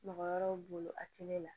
Mɔgɔ wɛrɛw bolo a tɛ ne la